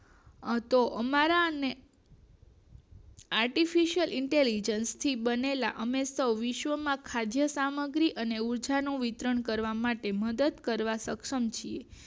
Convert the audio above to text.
આ તો અમારા અને artificialinterligent થી બનેલા અમે સો વિશ્વ માં ખાદ્ય સામ ગ્રી અને ઉર્જા નું વિતરણ કરવા માટે મદદ કરવા સક્ષમ છીએ